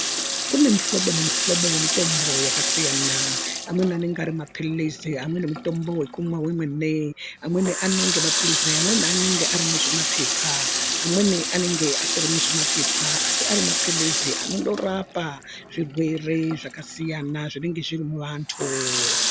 Kune mihlono nemihlobo yemitombo yakasiyana amweni anenge ari mapilisi amweni mutombo wekumwa wemene amweni anenge anenge mapilizi amweni aya anenge ari muzvima pepa amweni anenge asiri muzvimapepa asi ari mapilizi anondorapa zvirwere zvakasiyana zvinenge zviri muvantu.